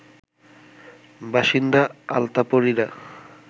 বাসিন্দা আলতাপরিরা